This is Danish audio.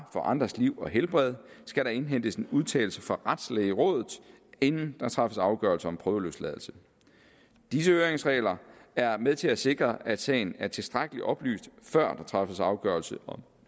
for andres liv og helbred skal der indhentes en udtalelse fra retslægerådet inden der træffes afgørelse om prøveløsladelse disse høringsregler er med til at sikre at sagen er tilstrækkeligt oplyst før der træffes afgørelse